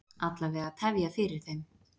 Alla vega tefja fyrir þeim.